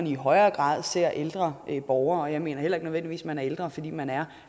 i højere grad ser ældre borgere og jeg mener heller ikke nødvendigvis man er ældre fordi man er